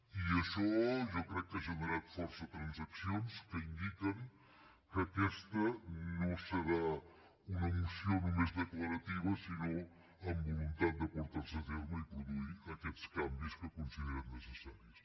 i això jo crec que ha generat força transaccions que indiquen que aquesta no serà una moció només declarativa sinó amb voluntat de portar se a terme i produir aquests canvis que considerem necessaris